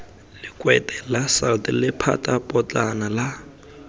lekwete la salt lephatapotlana la